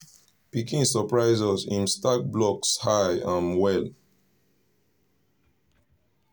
pikin surprise us him stack blocks high um well